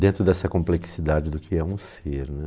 dentro dessa complexidade do que é um ser, né.